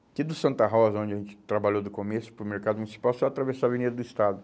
Aqui do Santa Rosa, onde a gente trabalhou do começo, para o mercado municipal, só atravessar a Avenida do Estado.